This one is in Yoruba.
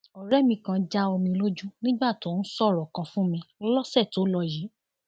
ọrẹ mi kan já omi lójú nígbà tó ń sọrọ kan fún mi lọsẹ tó lọ yìí